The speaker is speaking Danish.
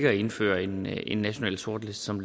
at indføre en en national sortliste som